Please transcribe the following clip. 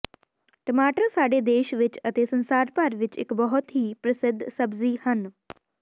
ਟਮਾਟਰ ਸਾਡੇ ਦੇਸ਼ ਵਿੱਚ ਅਤੇ ਸੰਸਾਰ ਭਰ ਵਿੱਚ ਇੱਕ ਬਹੁਤ ਹੀ ਪ੍ਰਸਿੱਧ ਸਬਜ਼ੀ ਹਨ